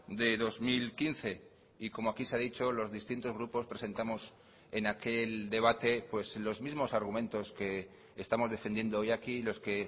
de dos mil quince y como aquí se ha dicho los distintos grupos presentamos en aquel debate los mismos argumentos que estamos defendiendo hoy aquí los que